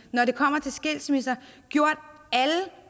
når det kommer til skilsmisser gjort alle